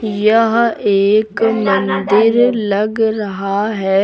यह एक मंदिर लग रहा है।